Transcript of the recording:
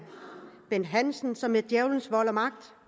bent hansen som med djævelens vold og magt